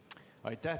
Aitäh!